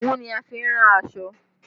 Òwú ni a fi ń rán aṣọ